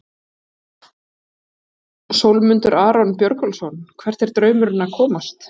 Sólmundur Aron Björgólfsson Hvert er draumurinn að komast?